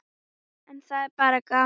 En það er bara gaman.